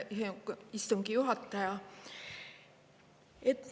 Aitäh, hea istungi juhataja!